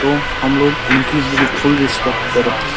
तो हमलोग इनकी फुल रिस्पेक्ट करे।